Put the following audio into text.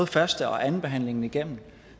første og andenbehandlingen igennem